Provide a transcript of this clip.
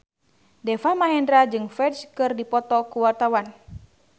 Deva Mahendra jeung Ferdge keur dipoto ku wartawan